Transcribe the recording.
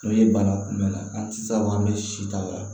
N'o ye bana kunbɛn an tɛ se ka fɔ an bɛ si t'a la